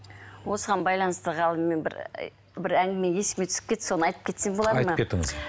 осыған байланысты ғалым мен бір ы бір әңгіме есіме түсіп кетті соны айтып кетсем болады ма айтып кетіңіз